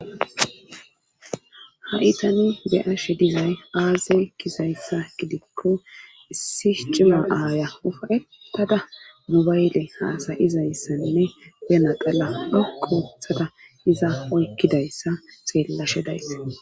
Hay tanu be7ashe dizay aaze kizayssa gidikko issi cima aaya ufayettada mubayle haasayizayssanne benaqala a koothada iza oykkidayssa xeellashe dayssa.